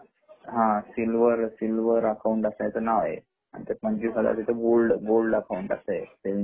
silver, silver account ला त्याच नाव आहे आणि एक गोल्ड , गोल्ड सेविंग अकाउंट